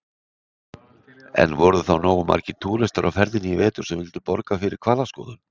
En voru þá nógu margir túristar á ferðinni í vetur sem vildu borga fyrir hvalaskoðun?